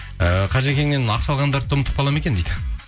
і қажекеннен ақша алғандарды ұмытып қалады ма екен дейді